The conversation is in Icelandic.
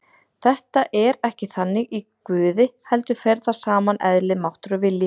Þetta er ekki þannig í Guði heldur fer þar saman eðli, máttur og vilji.